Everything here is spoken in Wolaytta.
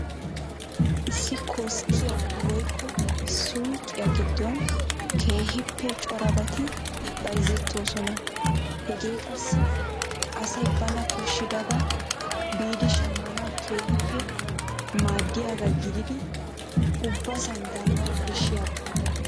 Issi koskkiya woykko suyqiya giddon keehippe corabati bayzettoosona. Hegee qassi asay bana koshshidabaa biidi shammanawu keehippe maadiyagaa gididi ubbasan daanawu koshshiyaba.